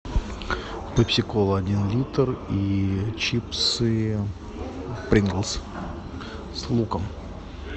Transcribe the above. пепси кола один литр и чипсы принглс с луком